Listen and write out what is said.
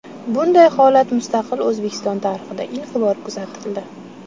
Bunday holat mustaqil O‘zbekiston tarixida ilk bor kuzatildi.